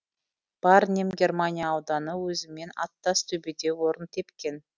ба рним германия ауданы өзімен аттас төбеде орын тепкен